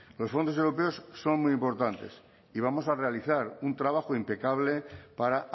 los fondos europeos son muy importantes y vamos a realizar un trabajo impecable para